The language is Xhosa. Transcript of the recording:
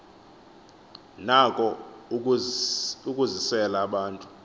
nako ukusizela abantu